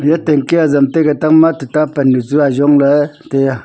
e tanki azam taiga tangma tuta pannu chu ajong ley tai a.